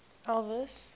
elvis